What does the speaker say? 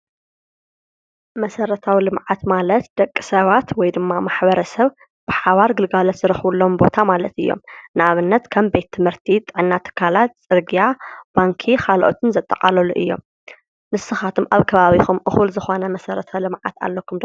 መሰረታዊ ልምዓት ማለት ደቂ ሰባት ወይ ድማ ማሕበረሰብ ብሓባር ግልጋሎት ዝረኽቡሎም ቦታ ማለት እዮም ።ንኣብነት ከም ቤት ትምህርቲ፣ ጥዕና ትካላት፣ ፅርግያ ፣ባንኪ ካልኦትን ዘጠቓልሉ እዮም ።ንስኻትኩም ኣብ ከባቢኹም እኹል ዝኾነ መሰረተ ልመዓት ኣለኩም ዶ?